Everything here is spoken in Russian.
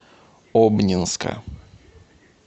обнинска